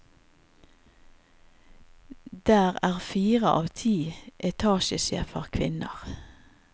Der er fire av ti etatsjefer kvinner.